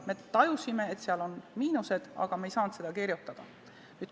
Me tajusime, et seal on miinuseid, aga me ei saanud neid sinna kirjutada.